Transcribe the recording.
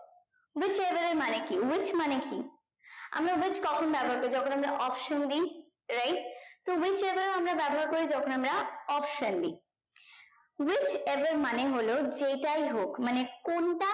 which above মানে কি which মানে কি আমরা which কখন ব্যাবহার করি যখন আমরা option দি right তো which above আমরা ব্যাবহার করি যখন আমরা option দি which above মানে হলো যেটাই হোক মানে কোনটা